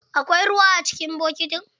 Akwai ruwa a cikin bokitin?